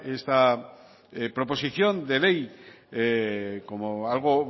esta proposición de ley como algo